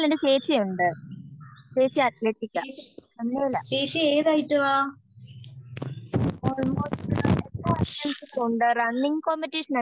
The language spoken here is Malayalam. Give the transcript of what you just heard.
ചേച്ചി ഏതൈറ്റമാ